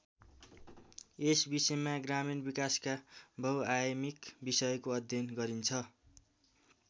यस विषयमा ग्रामीण विकासका बहुआयमिक विषयको अध्ययन गरिन्छ।